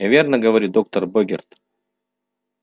я верно говорю доктор богерт